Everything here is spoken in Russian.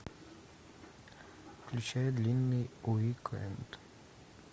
включай длинный уик энд